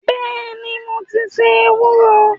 Bẹ́ẹ̀ni, mo ti se ewúro